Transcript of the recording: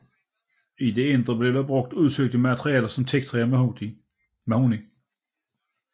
I det indre blev der brugt udsøgte materialer som teaktræ og mahogni